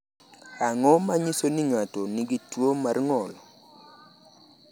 Ang’o ma nyiso ni ng’ato nigi tuwo mar ng’ol?